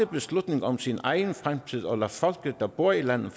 beslutninger om sin egen fremtid og lade folket der bor i landet